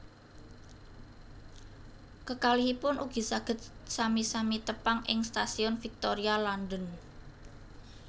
Kekalihipun ugi saged sami sami tepang ing Stasiun Victoria London